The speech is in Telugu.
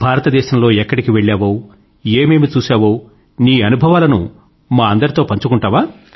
భారతదేశం లో ఎక్కడికి వెళ్ళావో ఏమేమి చూశావో నీ అనుభవాలను మా అందరితో పంచుకుంటావా